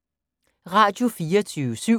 Radio24syv